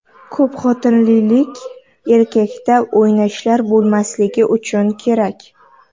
Ko‘pxotinlilik erkakda o‘ynashlar bo‘lmasligi uchun kerak.